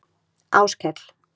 Áskell